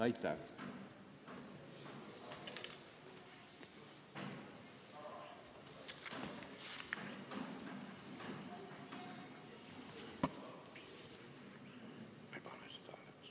Aitäh!